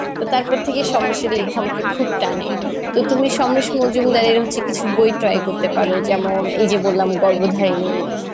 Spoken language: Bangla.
তো তারপর থেকে সমরেসের লেখা আমাকে খুব টানে. তো তুমি সমরেশ মজুমদারের হচ্ছে কিছু বই হচ্ছে try করতে পারো যেমন এই যে বললাম গর্ভ্যধারিনি,